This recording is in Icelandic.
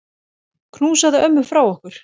Knúsaðu ömmu frá okkur.